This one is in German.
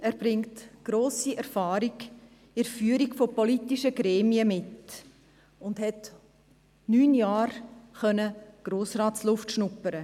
Zudem bringt er eine grosse Erfahrung im Führen von politischen Gremien mit und konnte neun Jahre lang Grossrats-Luft schnuppern;